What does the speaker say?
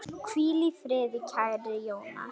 Hvíl í friði, kæri Jónas.